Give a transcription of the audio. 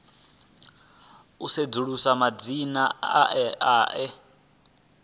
u sedzulusa madzina e a